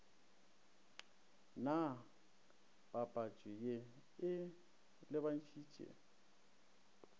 na papatšo ye e lebantšhitše